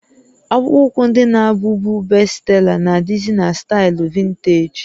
Akpụkpọ ụkwụ ndị na-abụbu bestsela nà adịzị na staịlụ vinteeji